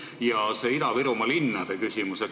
Ja see Ida-Virumaa linnade küsimus.